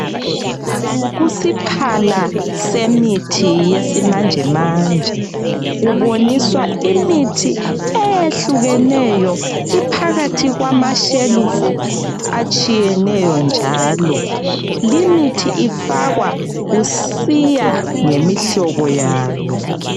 Kusiphala semithi yesimanjemanje kuboniswa imithi eyehlukeneyo iphakathi kwamashelifu atshiyeneyo njalo limithi ifakwa kusiya ngemihlobo yayo.